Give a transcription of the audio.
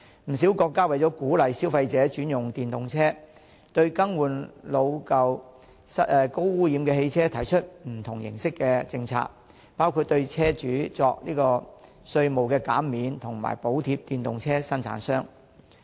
不少國家為鼓勵消費者轉用電動車，對更換老舊、高污染汽車提出不同形式的政策，包括對車主作稅務減免及為電動車生產商提供補貼。